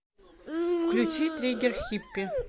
включи триггер хиппи